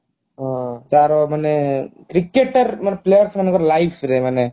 ତାର ମାନେ cricketer ମାନେ player ମାନଙ୍କର life ରେ ମାନେ